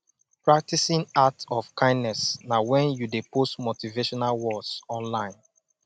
practing act of kindness na when you de post motivational words online